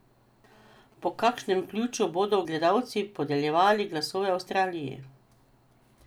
Po kakšnem ključu bodo gledalci podeljevali glasove Avstraliji?